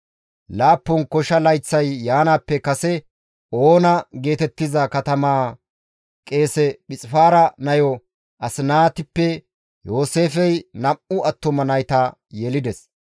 Laappun kosha layththay yaanaappe kase Oona geetettiza katamaa qeese Phixifaara nayo Asinaatippe Yooseefey nam7u attuma nayta yelides.